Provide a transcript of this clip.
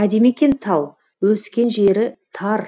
әдемі екен тал өскен жері тар